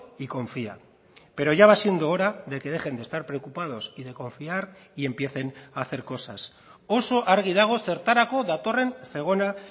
y confía pero ya va siendo hora de que dejen de estar preocupados y de confiar y empiecen a hacer cosas oso argi dago zertarako datorren zegona